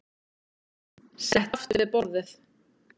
Settist aftur við borðið.